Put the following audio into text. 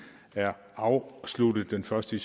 er afsluttet den første